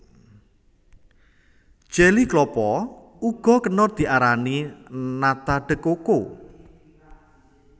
Jeli klapa uga kena diarani nata de coco